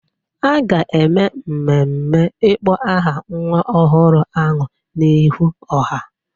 A ga-eme mmemme ịkpọ aha nwa ọhụrụ ahụ n'ihu ọha.